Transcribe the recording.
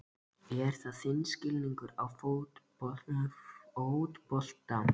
Er það þinn skilningur á fótbolta?